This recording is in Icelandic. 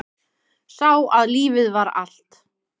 Sá að lífið var allt.